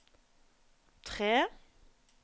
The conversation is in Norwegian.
tre